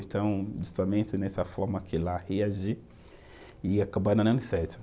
Então, justamente nessa forma que ela reagiu e acabou dando certo.